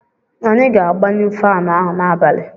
Anyị ga-agbanyụ faanụ ahụ n'abalị.